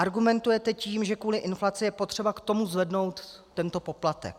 Argumentujete tím, že kvůli inflaci je potřeba k tomu zvednout tento poplatek.